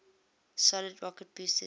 solid rocket boosters